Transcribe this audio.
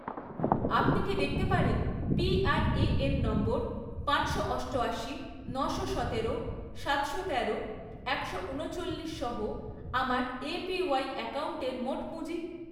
আপনি কি দেখতে পারেন পিআরএএন নম্বর পাঁচশো অষ্টআশি, নশো সতেরো, সাতশো তেরো, একশো উনচল্লিশসহ আমার এপিওয়াই অ্যাকাউন্টের মোট পুঁজি?